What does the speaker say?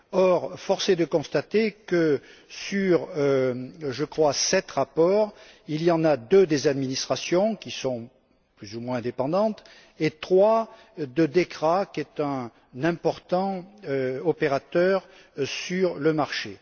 Or, force est de constater que sur je crois sept rapports, il y en a deux des administrations, qui sont plus ou moins indépendantes, et trois de DEKRA, qui est un important opérateur sur le marché.